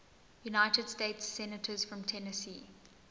united states senators from tennessee